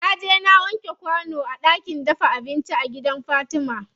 Naje na wanke kwano a ɗakin dafa abinci a gidan fatima.